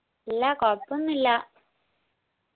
ഇല്ലാ കൊഴപ്പോന്നൂല്ലാ